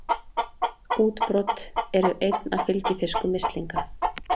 Útbrot eru einn af fylgifiskum mislinga.